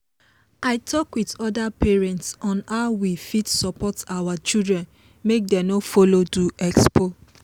i talk with other parents on how we fit support our children make dem no follow do expo.